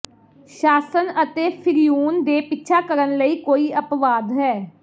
ਸ਼ਾਸਨ ਅਤੇ ਫ਼ਿਰਊਨ ਨੇ ਪਿੱਛਾ ਕਰਨ ਲਈ ਕੋਈ ਅਪਵਾਦ ਹੈ